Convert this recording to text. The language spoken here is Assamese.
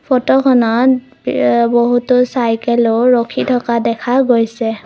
ফটোখনত এ বহুতো চাইকেলো ৰাখি থকা দেখা গৈছে।